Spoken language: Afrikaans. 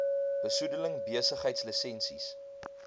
besoedeling besigheids lisensies